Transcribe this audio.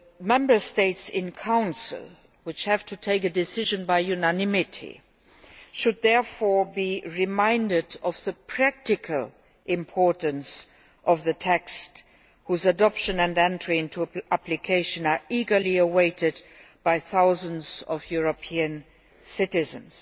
Member States in Council, which have to take a decision by unanimity, should therefore be reminded of the practical importance of the text, whose adoption and entry into force are eagerly awaited by thousands of European citizens.